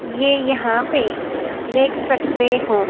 ये यहा पे देख सकते हो--